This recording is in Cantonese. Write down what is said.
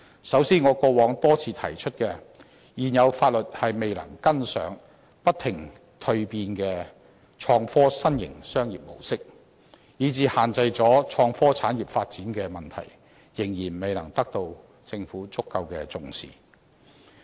首先，我過往多次提出，現有法律未能跟上不停蛻變的創科新型商業模式，以致限制了創科產業發展的問題，仍然未能得到政府足夠的重視。